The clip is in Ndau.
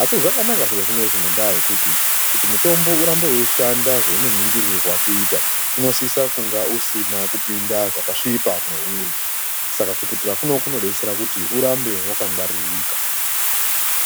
asi zvakanaka zviri zvinezvi ngendaa yokuti kuti mutombo urambe weyishanda zvounonigirirwa kuita unlsisa kunge usina kupinda zvakasvipa mwauri. Saka kuputira kuno kunodetsera kuti urambe wakangarika.